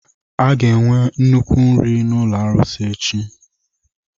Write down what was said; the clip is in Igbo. A ga-enwe nnukwu nri n'ụlọ arụsị echi.